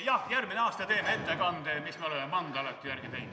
Jah, järgmisel aastal teen ettekande, mida me oleme mandalate järgi teinud.